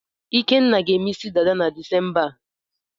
Ikenna ga-eme isi dada na Disemba a.